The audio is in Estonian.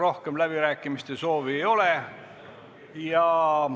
Rohkem kõnesoove ei ole.